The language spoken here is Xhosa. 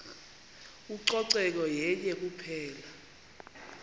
ucoceko yenye kuphela